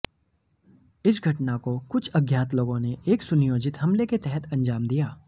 इस घटना को कुछ अज्ञात लोगों ने एक सुनियोजित हमले के तहत अंजाम दिया